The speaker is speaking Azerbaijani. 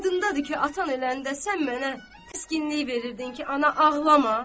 Yadındadır ki, atan eləndə sən mənə təskinlik verirdin ki, ana ağlama.